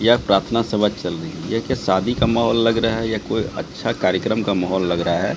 यह प्रार्थना सभा चल रही देख के शादी का माहौल लग रहा है या कोई अच्छा कार्यक्रम का माहौल लग रहा है।